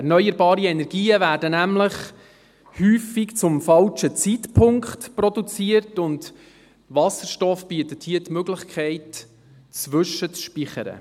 Erneuerbare Energien werden nämlich häufig zum falschen Zeitpunkt produziert, und Wasserstoff bietet hier die Möglichkeit, zwischenzuspeichern.